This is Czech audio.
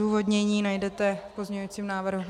Odůvodnění najdete v pozměňovacím návrhu.